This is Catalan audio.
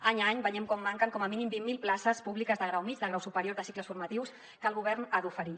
any a any veiem com manquen com a mínim vint mil places públiques de grau mitjà de grau superior de cicles formatius que el govern ha d’oferir